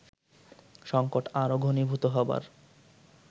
সংকট আরো ঘণীভূত হবার